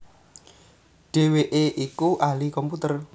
Dhèwèké iku ahli komputer